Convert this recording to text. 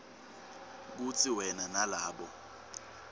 kutsi wena nalabo